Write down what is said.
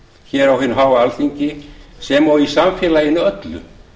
hér á hinu háa alþingi sem og í samfélagi okkar öllu